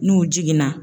N'u jiginna